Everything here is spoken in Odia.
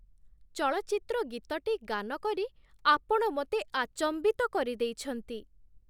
ଚଳଚ୍ଚିତ୍ର ଗୀତଟି ଗାନ କରି ଆପଣ ମୋତେ ଆଚମ୍ବିତ କରିଦେଇଛନ୍ତି!